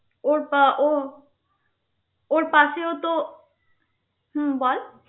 ওর পা~ ওর ওর পাশেও তো হম বল